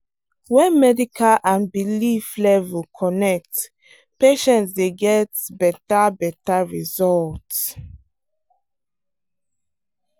when medical and belief level connect patients dey get better better result.